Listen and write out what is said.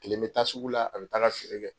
Tile bɛ taa sugu la an taa feere kɛ